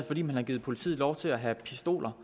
fordi man har givet politiet lov til at have pistoler